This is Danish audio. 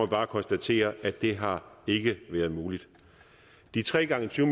bare konstatere at det ikke har været muligt de tre gange tyve